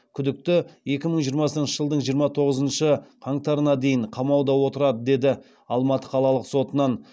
күдікті екі мың жиырмасыншы жылдың жиырма тоғызыншы қаңтарына дейін қамауда отырады деді алматы қалалық сотынан